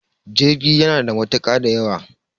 jirgi yana da matuka da yawa